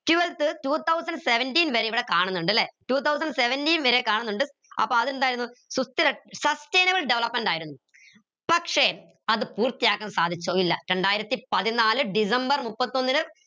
twelfth two thousand seventeen വരെ ഇവിടെ കാണുന്നുണ്ട് ല്ലേ two thousand seventeen വരെ കാണുന്നുണ്ട് അപ്പൊ അതെന്തായിരുന്നു sustainable development ആയിരുന്നു പക്ഷേ അത് പൂർത്തിയാക്കാൻ സാധിച്ചോ ഇല്ല രണ്ടായിരത്തി പതിനാല് ഡിസംബർ മുപ്പത്തൊന്നിന്